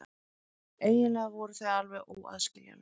Eiginlega voru þau alveg óaðskiljanleg.